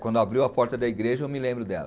Quando abriu a porta da igreja, eu me lembro dela.